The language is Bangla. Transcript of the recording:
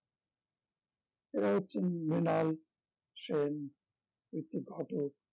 এরা হচ্ছেন মৃনাল সেন, ঋত্বিক ঘটক